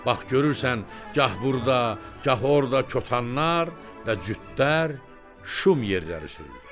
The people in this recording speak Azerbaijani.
Bax görürsən, gah burda, gah orda kotanlar və cütdər şum yerləri sürürdü.